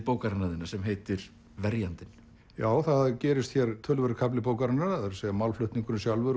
bókarinnar þinnar sem heitir verjandinn já það gerist hér töluverður kafli bókarinnar að segja málflutningurinn sjálfur